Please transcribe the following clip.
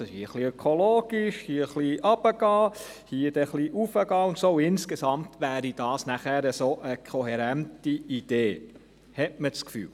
Es ist ein wenig ökologisch, hier etwas runtergehen, hier etwas raufgehen, und insgesamt wäre das dann eine kohärente Idee – hat man das Gefühl.